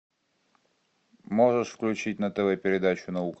можешь включить на тв передачу наука